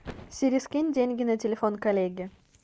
сири скинь деньги на телефон коллеге